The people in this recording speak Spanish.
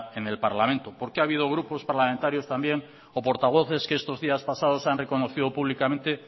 en el parlamento porque ha habido grupos parlamentarios también o portavoces que estos días pasados han reconocido públicamente